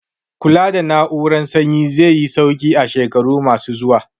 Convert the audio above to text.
Kula da na'urar sanyi zai yi sauki a shekaru ma su zuwa